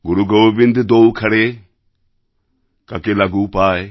গুরু গোবিন্দ দোঔ খড়ে কাকে লাগু পায়